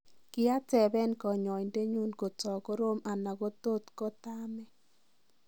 Kiatabeeni konyoindenyu kotokoroom anan kotgotosamee.